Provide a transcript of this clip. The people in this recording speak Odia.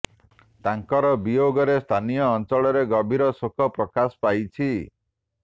ତାଙ୍କର ବିୟୋଗରେ ସ୍ଥାନୀୟ ଅଞ୍ଚଳରେ ଗଭୀର ଶୋକ ପ୍ରକାଶ ପାଇଛି